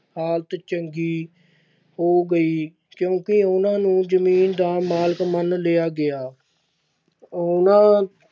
ਹਾਲਤ ਚੰਗੀ ਹੋ ਗਈ ਕਿਉਂਕਿ ਉਹਨਾਂ ਨੂੰ ਜ਼ਮੀਨ ਦਾ ਮਾਲਕ ਮੰਨ ਲਿਆ ਗਿਆ ਉਹਨਾਂ